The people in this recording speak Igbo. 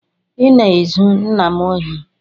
I na-ezu nna m ohi